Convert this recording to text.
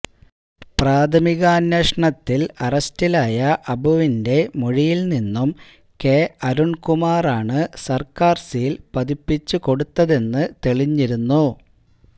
പ്രാഥമികാന്വേഷണത്തില് അറസ്റ്റിലായ അബുവിന്െറ മൊഴിയില് നിന്നും കെ അരുണ്കുമാറാണ് സര്ക്കാര് സീല് പതിപ്പിച്ചുകൊടുത്തതെന്നു തെളിഞ്ഞിരുന്നു